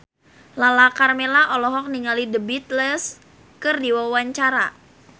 Lala Karmela olohok ningali The Beatles keur diwawancara